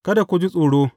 Kada ku ji tsoro.